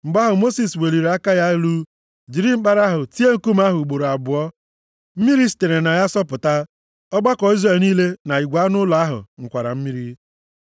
Mgbe ahụ Mosis weliri aka ya elu jiri mkpara ahụ tie nkume ahụ ugboro abụọ. Mmiri sitere na ya sọpụta. Ọgbakọ Izrel niile na igwe anụ ụlọ ha ṅụkwara mmiri.